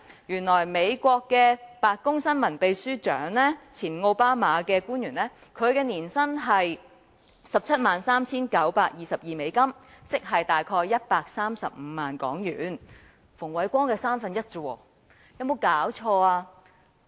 原來美國的白宮新聞秘書長在奧巴馬年代收取的年薪是 173,922 美元，亦即大約135萬港元，只是馮煒光年薪的三分之一。